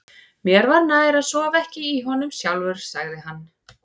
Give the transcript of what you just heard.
Mér var nær að sofa ekki í honum sjálfur, sagði hann.